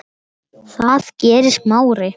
Það gerði Smári.